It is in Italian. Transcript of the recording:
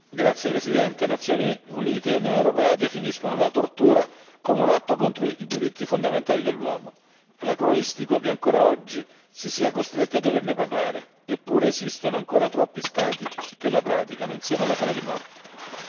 Signora Presidente, onorevoli colleghi, le Nazioni Unite e l'Unione europea definiscono la tortura come un atto contro i diritti fondamentali dell'uomo. Anacronistico che ancora oggi si sia costretti a doverne parlare. Eppure esistono ancora troppi Stati che la praticano, insieme alla pena di morte.